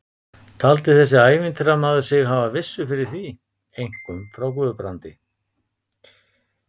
Taldi þessi ævintýramaður sig hafa vissu fyrir því, einkum frá Guðbrandi